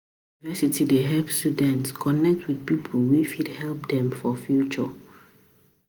University dey help students connect with people wey fit help dem for future.